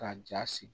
Ka jaa sigi